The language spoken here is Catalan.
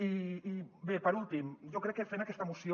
i bé per últim jo crec que fent aquesta moció